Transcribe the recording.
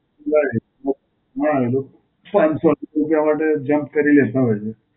right. હાં, લોકો પાંચ સૌ એક રૂપયા માટે jump કરી લેતા હોય છે.